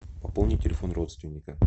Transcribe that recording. пополни телефон родственника